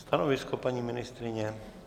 Stanovisko paní ministryně?